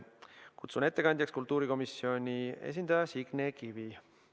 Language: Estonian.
Kutsun ettekandjaks kultuurikomisjoni esindaja Signe Kivi.